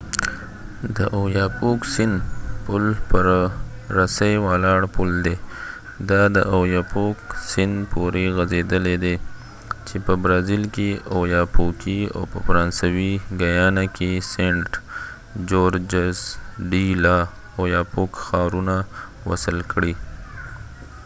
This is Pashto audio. د اویاپوک سیند پل پر رسۍ ولاړ پل دی دا د ايوپوک سيند پورې غځيدلی دی چې په برازیل کې اوياپوکي او په فرانسوي ګیانا کې سینټ جورجز ډی لا اوياپوک ښارونه وصل کړي